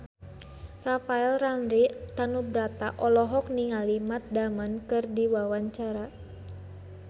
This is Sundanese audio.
Rafael Landry Tanubrata olohok ningali Matt Damon keur diwawancara